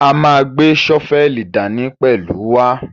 A máa gbé ṣọ́fẹ́lì dání pẹ̀lú wa.